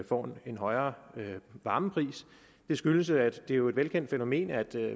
får en højere varmepris det skyldes at det jo er et velkendt fænomen at